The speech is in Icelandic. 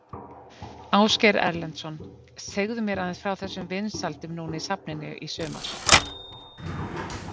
Ásgeir Erlendsson: Segðu mér aðeins frá þessum vinsældum núna í safninu í sumar?